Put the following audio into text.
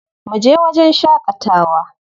Mu je wajen shaƙatawa.